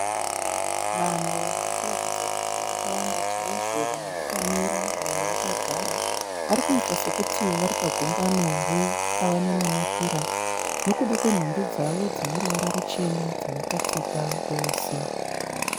Vanhu varikuratidza kuti vakawanda chaizvo vamwe vakamira vamwe vakagara. Varikuita sokuti varipagungano repavanonamatira nokuda kwenhumbi dzavo dzineruvara ruchena dzavakapfeka vose.